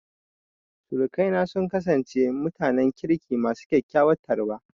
Sirikaina sun kasance mutanen kirki masu kyakkyawar tarba.